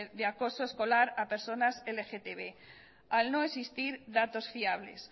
de acoso escolar a personas lgtb al no existir datos fiables